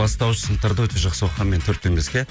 бастауыш сыныптарда өте жақсы оқығанмын мен төрт пен беске